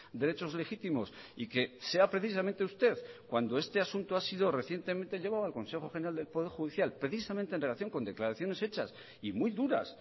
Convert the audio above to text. derechos legítimos y que sea precisamente usted cuando este asunto ha sido recientemente llevado al consejo general del poder judicial precisamente en relación con declaraciones hechas y muy duras